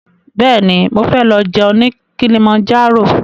Bẹ́ẹ̀ni, mo fẹ́ lọ jẹun ní Kilimanjaro